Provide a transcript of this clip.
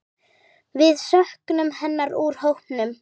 Við söknum hennar úr hópnum.